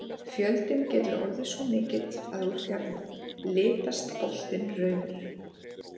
Fjöldinn getur orðið svo mikill að úr fjarlægð litast botninn rauður.